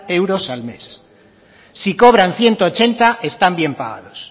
euros al mes si cobran ciento ochenta están bien pagados